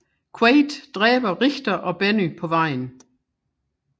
Quaid dræber Richter og Benny på vejen